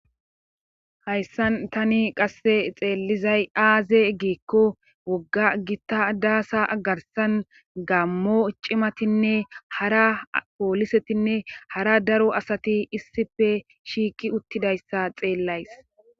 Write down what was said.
hayssan tani qasse xeellizay aaze giikko wogga gita daasa agarsan gammo cimatinne hara poolisetinne hara daro asati issife shiiki uttidayssa xeellays